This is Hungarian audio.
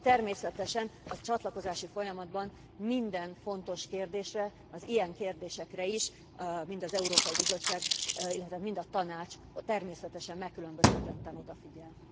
Természetesen a csatlakozási folyamatban minden fontos kérdésre, az ilyen kérdésekre is, mind az Európai Bizottság, illetve mind a Tanács természetesen megkülönböztetetten odafigyel.